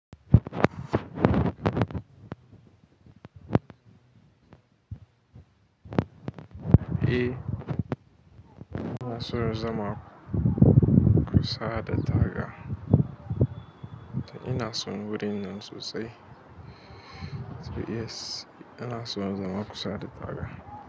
Eh, ina son zama kusa da tara ina son wurin nan sosai. Yes, ina so in zama kusa da taga.